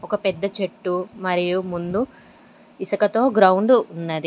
ఒక పెద్ద చెట్టు మరియు ముందు ఇసుకతో గ్రౌండ్ ఉన్నది.